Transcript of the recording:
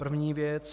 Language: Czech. První věc.